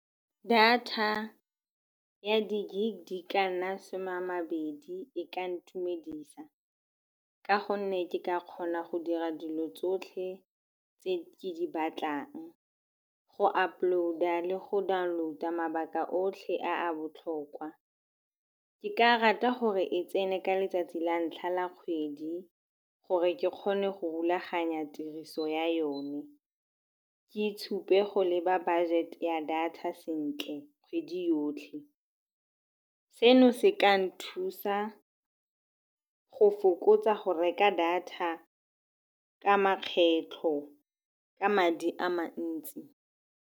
Data ya di-gig di ka nna some a mabedi e ka ntumedisa ka gonne ke ka kgona go dira dilo tsotlhe tse ke di batlang. Go upload-a le go download-a mabaka otlhe a botlhokwa. Ke ka rata gore e tsene ka letsatsi la ntlha la kgwedi gore ke kgone go rulaganya tiriso ya yone, ke itshupe go leba budget ya data sentle kgwedi yotlhe. Seno se ka nthusa go fokotsa go reka data ka makgetlho, ka madi a mantsi.